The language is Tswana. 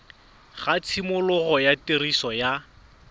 ga tshimologo ya tiriso ya